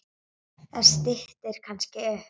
Það styttir kannski upp.